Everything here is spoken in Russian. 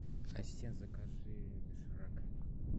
ассистент закажи доширак